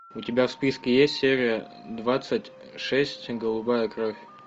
у тебя в списке есть серия двадцать шесть голубая кровь